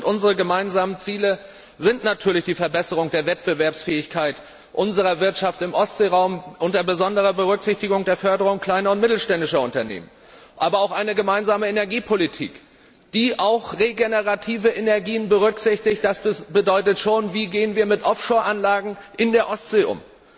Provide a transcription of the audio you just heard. Unsere gemeinsamen Ziele sind natürlich die Verbesserung der Wettbewerbsfähigkeit unserer Wirtschaft im Ostseeraum unter besonderer Berücksichtigung der Förderung kleiner und mittelständischer Unternehmen, aber auch eine gemeinsame Energiepolitik, bei der auch regenerative Energien berücksichtigt werden. Das wirft die Frage auf Wie gehen wir mit Offshore Anlagen in der Ostsee um?